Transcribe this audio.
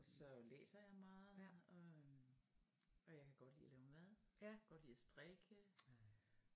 Så læser jeg meget og øhm og jeg kan godt lide at lave mad jeg kan godt lide at strikke